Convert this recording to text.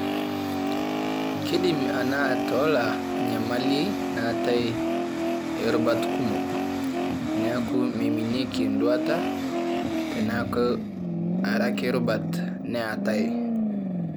Keidim ena atola enyamali naatae oorubat kumok, neaku meiminieki enduata tenaku are ake rubat naatae.